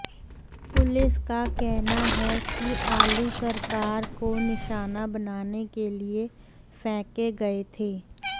police का कहना है कि आलू सरकार को निशाना बनाने के लिए फेंके गए थे